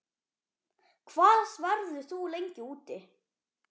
Hvað verður þú lengi úti?